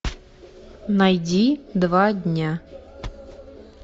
найди два дня